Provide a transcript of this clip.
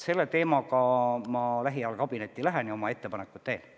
Ma lähen lähiajal kabinetti, et sellel teemal oma ettepanekud teha.